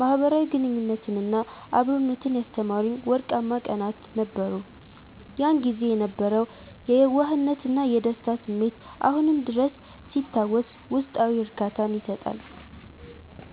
ማኅበራዊ ግንኙነትንና አብሮነትን ያስተማሩኝ ወርቃማ ቀናት ነበሩ። ያን ጊዜ የነበረው የየዋህነትና የደስታ ስሜት አሁንም ድረስ ሲታወስ ውስጣዊ እርካታን ይሰጣል።